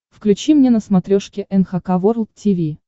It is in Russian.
включи мне на смотрешке эн эйч кей волд ти ви